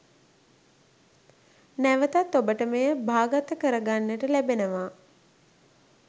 නැවතත් ඔබට මෙය භාගත කරගන්නට ලැබෙනවා